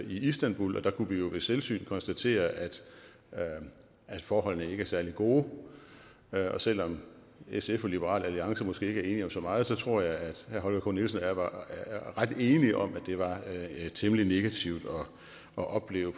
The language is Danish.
i istanbul og der kunne vi jo ved selvsyn konstatere at forholdene ikke er særlig gode og selv om sf og liberal alliance måske ikke er enige om så meget så tror jeg at herre holger k nielsen og jeg var ret enige om at det var temmelig negativt at opleve